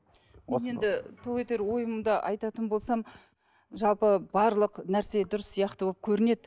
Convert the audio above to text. мен енді тоқетер ойымды айтатын болсам жалпы барлық нәрсе дұрыс сияқты болып көрінеді